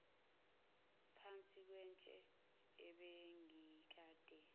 uphansi kwetshe ebengikade